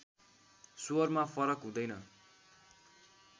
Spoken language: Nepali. स्वरमा फरक हुँदैन